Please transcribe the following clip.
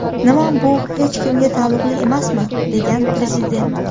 Nima bu hech kimga taalluqli emasmi?” degan Prezident.